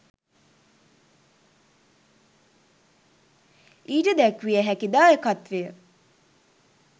ඊට දැක්විය හැකි දායකත්වය